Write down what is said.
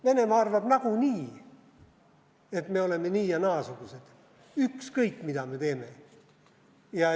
Venemaa arvab nagunii, et me oleme nii- ja naasugused, ükskõik, mida me teeme.